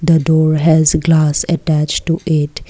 a door has glass attached to gate.